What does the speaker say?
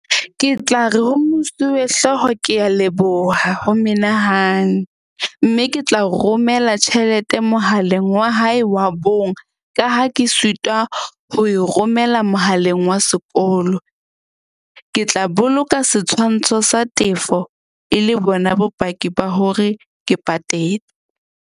Ke tla re ho mosuwehlooho, ke a leboha ho menahane. Mme ke tla romela tjhelete mohaleng wa hae wa bong, ka ha ke sitwa ho e romela mohaleng wa sekolo. Ke tla boloka setshwantsho sa tefo e le bona bopaki ba hore ke .